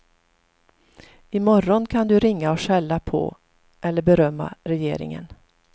I morgon kan du ringa och skälla på eller berömma regeringen.